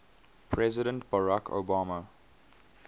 president barack obama